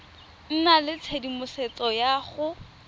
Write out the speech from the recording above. nna le tshedimosetso ya go